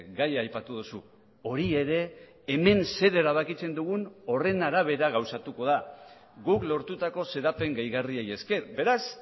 gaia aipatu duzu hori ere hemen zer erabakitzen dugun horren arabera gauzatuko da guk lortutako xedapen gehigarriei esker beraz